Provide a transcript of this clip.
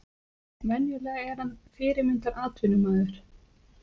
Venjulega er hann fyrirmyndar atvinnumaður.